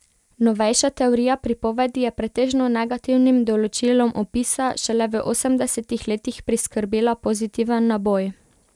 Novejša teorija pripovedi je pretežno negativnim določilom opisa šele v osemdesetih letih priskrbela pozitiven naboj.